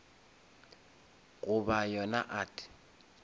goba yona art